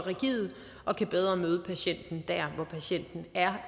rigide og kan bedre møde patienten der hvor patienten er